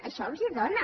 això els dóna